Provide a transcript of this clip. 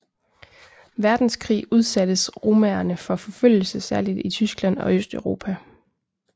Verdenskrig udsattes romaerne for forfølgelse særligt i Tyskland og Østeuropa